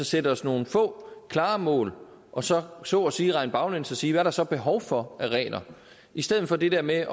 sætter os nogle få klare mål og så så at sige regner baglæns og ser der så er behov for i stedet for det der med